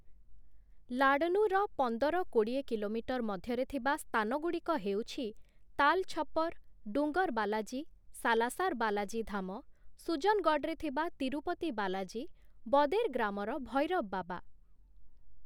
ଲାଡନୁର ପନ୍ଦର କୋଡ଼ିଏ କିଲୋମିଟର ମଧ୍ୟରେ ଥିବା ସ୍ଥାନଗୁଡ଼ିକ ହେଉଛି ତାଲ୍ ଛପର୍, ଡୁଙ୍ଗର ବାଲାଜୀ, ସାଲାସାର ବାଲାଜୀ ଧାମ, ସୁଜନଗଡ଼଼ରେ ଥିବା ତିରୁପତି ବାଲାଜୀ, ବଦେର ଗ୍ରାମର ଭୈରବ ବାବା ।